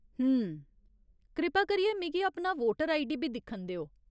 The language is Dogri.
हुं..। कृपा करियै मिगी अपना वोटर आईडी बी दिक्खन देओ।